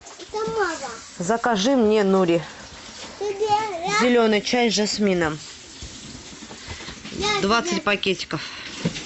закажи мне нури зеленый чай с жасмином двадцать пакетиков